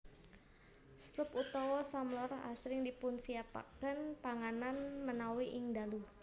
Sup utawa samlor asring dipunsiapaken panganan menawi ing ndalu